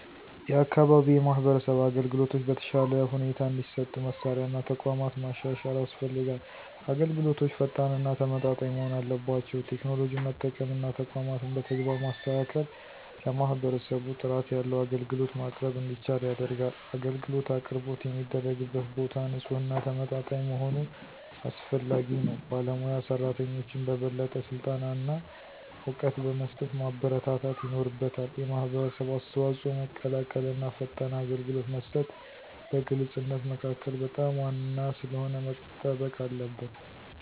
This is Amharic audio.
የአካባቢ የማህበረሰብ አገልግሎቶች በተሻለ ሁኔታ እንዲሰጡ መሳሪያ እና ተቋማት ማሻሻል ያስፈልጋል። አገልግሎቶች ፈጣን እና ተመጣጣኝ መሆን አለባቸው። ቴክኖሎጂን መጠቀም እና ተቋማትን በተግባር ማስተካከል ለማህበረሰቡ ጥራት ያለው አገልግሎት ማቅረብ እንዲቻል ያደርጋል። አገልግሎት አቅርቦት የሚደረግበት ቦታ ንፁህና ተመጣጣኝ መሆኑ አስፈላጊ ነው። ባለሞያ ሰራተኞችን በበለጠ ስልጠና እና እውቀት በመስጠት ማበረታታት ይኖርበታል። የማህበረሰብ አስተዋጽኦ መቀላቀል እና ፈጣን አገልግሎት መስጠት በግልፅነት መካከል በጣም ዋና ስለሆነ መጠበቅ አለበት።